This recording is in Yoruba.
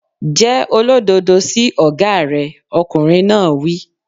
Jẹ́ olódodo sí ọ̀gá rẹ̀! Ọkùnrin náà wí.